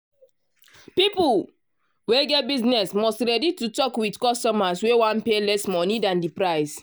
people wey get business must ready to talk with customers wey wan pay less monie dan di price.